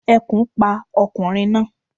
Ekùn pa okùnrin náa